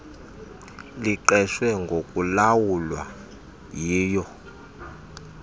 liqeshwe ngokulawula yilo